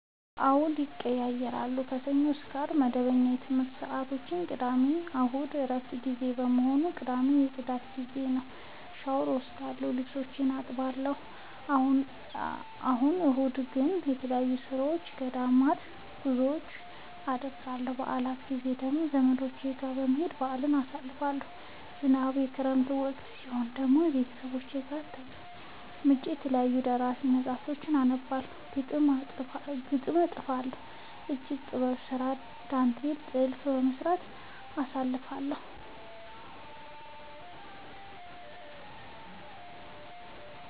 አዎድ ይቀየያራሉ። ከሰኞ እስከ አርብ መደበኛ የትምረት ሰዓቶቼናቸው ቅዳሜና እሁድ የእረፍት ጊዜ በመሆኑ። ቅዳሜ የፅዳት ጊዜዬ ነው። ሻውር እወስዳለሁ ልብሶቼን አጥባለሁ። እሁድ እሁድ ግን ተለያዩ የኦርቶዶክስ ገዳማት ጉዞወችን አደርገለሁ። የበአል ጊዜ ደግሞ ዘመዶቼ ጋር በመሄድ በአልን አሳልፋለሁ። ዝናባማ እና የክረምት ወቅት ሲሆን ደግሞ ቤተሰብ ጋር ተቀምጬ የተለያዩ ደራሲያን መፀሀፍቶችን አነባለሁ፤ ግጥም እጥፋለሁ፤ የእጅ ጥበብ ስራ ዳንቴል ጥልፍ በመስራት አሳልፍለሁ።